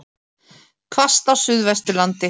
Hvasst á Suðvesturlandi